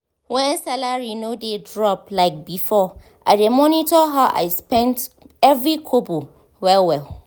when salary no dey drop like before i dey monitor how i dey spend every kobo well-well.